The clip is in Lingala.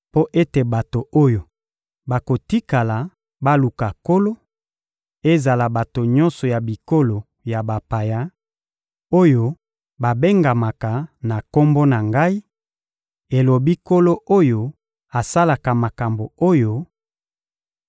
mpo ete bato oyo bakotikala baluka Nkolo, ezala bato nyonso ya bikolo ya bapaya oyo babengamaka na Kombo na Ngai, elobi Nkolo oyo asalaka makambo oyo,